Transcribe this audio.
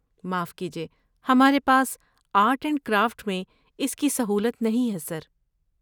معاف کیجیے، ہمارے پاس آرٹ اینڈ کرافٹ میں اس کی سہولت نہیں ہے، سر۔